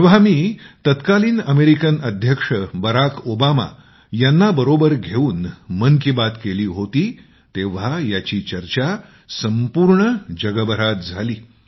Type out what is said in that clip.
जेव्हा मी तत्कालीन अमेरिकन अध्यक्ष बराक ओबामा यांच्याशी मन की बात सामायिक केली होती तेव्हा याची चर्चा संपूर्ण जगभरात झाली